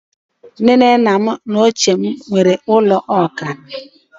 Nne na nna m ochie nwere ụlọ ọkara